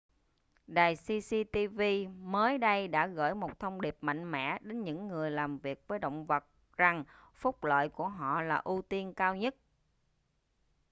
đài cctv mới đây đã gửi một thông điệp mạnh mẽ đến những người làm việc với động vật rằng phúc lợi của họ là ưu tiên cao nhất